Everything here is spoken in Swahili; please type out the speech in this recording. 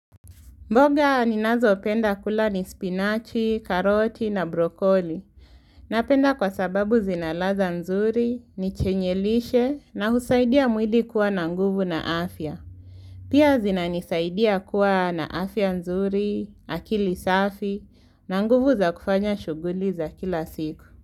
Mboga ninazo penda kula ni spinach, karoti na brokoli. Napenda kwa sababu zina ladha nzuri, ni chenye lishe na husaidia mwili kuwa na nguvu na afya. Pia zinanisaidia kuwa na afya nzuri, akili safi, na nguvu za kufanya shughuli za kila siku.